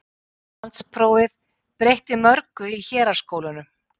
Landsprófið breytti mörgu í héraðsskólunum.